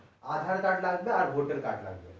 adhaar card লাগবে আর voter card লাগবে